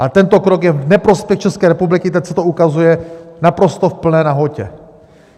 A tento krok je v neprospěch České republiky, teď se to ukazuje naprosto v plné nahotě.